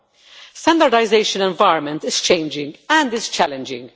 The standardisation environment is changing and is challenging.